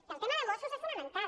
i el tema de mossos és fonamental